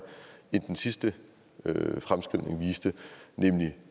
end den sidste fremskrivning viste nemlig